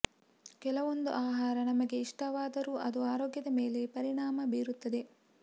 ಕೆಲವೊಂದು ಆಹಾರ ನಮಗೆ ಇಷ್ಟವಾದರೂ ಅದು ಆರೋಗ್ಯದ ಮೇಲೆ ಪರಿಣಾಮ ಬೀರುತ್ತದೆ